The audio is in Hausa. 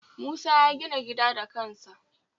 Musa ya gina gida da kansa